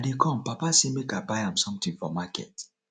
i dey come papa sey make i buy am something for market